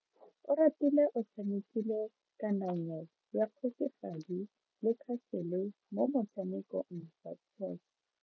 Oratile o tshamekile kananyo ya kgosigadi le khasele mo motshamekong wa chess.